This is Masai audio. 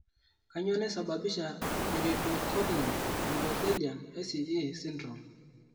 Kanyioo naisababisha iridocorneal endothelian (ICE) syndrome?